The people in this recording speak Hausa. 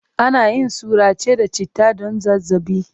Ana yin surace da citta don zazzaɓi.